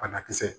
Banakisɛ